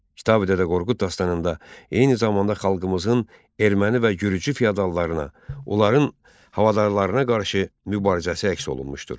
Kitabi Dədə Qorqud dastanında eyni zamanda xalqımızın erməni və gürcü kafir yaddallarına, onların havadarlarına qarşı mübarizəsi əks olunmuşdur.